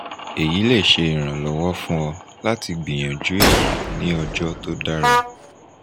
eyi le ṣe iranlọwọ fun ọ lati gbiyanju eyi ni ọjọ to dara